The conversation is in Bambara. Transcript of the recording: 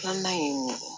Filanan ye mun ye